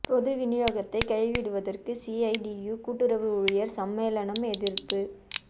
பொது விநியோகத்தை கைவிடுவதற்கு சிஐடியு கூட்டுறவு ஊழியர் சம்மேளனம் எதிர்ப்பு